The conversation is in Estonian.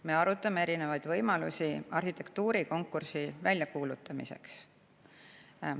Me arutame erinevaid võimalusi arhitektuurikonkursi väljakuulutamiseks.